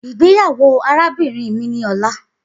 Igbeyawo arabinrin mi ni ọla